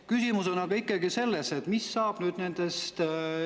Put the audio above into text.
Küsimus on ikkagi selles, mis saab nendest.